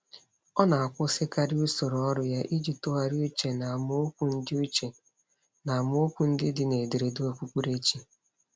Ọ na-akwụsịkarị usoro ọrụ ya iji tụgharị uche n’amaokwu ndị uche n’amaokwu ndị dị n’ederede okpukperechi.